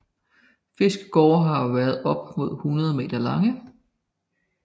Fiskegårde har været op mod 100 meter lange